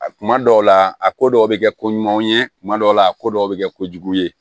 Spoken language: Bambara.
A kuma dɔw la a ko dɔw bɛ kɛ koɲuman ye kuma dɔw la a ko dɔw bɛ kɛ kojugu ye